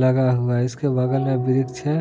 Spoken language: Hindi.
लगा हुआ है इसके बगल में वृक्ष है।